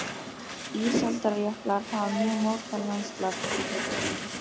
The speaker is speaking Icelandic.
Ísaldarjöklar hafa mjög mótað landslag þar sem þeir fóru um.